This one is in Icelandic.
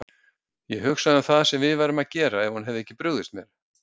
Ég hugsa um það sem við værum að gera ef hún hefði ekki brugðist mér.